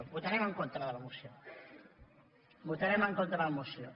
votarem en contra de la moció votarem en contra de la moció